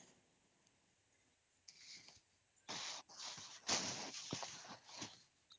noise